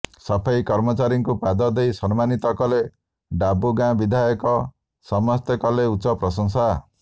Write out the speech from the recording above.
ସଫେଇ କର୍ମଚାରୀଙ୍କୁ ପାଦ ଧୋଇ ସମ୍ମାନିତ କଲେ ଡାବୁଗାଁ ବିଧାୟକ ସମସ୍ତେ କଲେ ଉଚ୍ଚ ପ୍ରଶଂସା